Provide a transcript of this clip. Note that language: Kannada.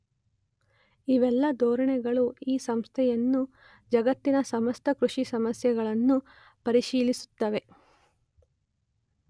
ಇವೆಲ್ಲ ಧೋರಣೆಗಳು ಈ ಸಂಸ್ಥೆಯನ್ನು ಜಗತ್ತಿನ ಸಮಸ್ತ ಕೃಷಿ ಸಮಸ್ಯೆಗಳನ್ನೂ ಪರಿಶೀಲಿಸುತ್ತವೆ